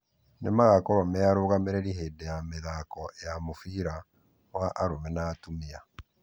Nĩmagakorwo mearũgamĩrĩri hĩndĩ ya mĩthako ya mũfira wa arũme na wa atumia .